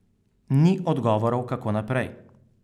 Ni odgovorov, kako naprej.